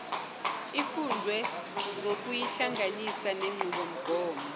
ifundwe ngokuyihlanganisa nenqubomgomo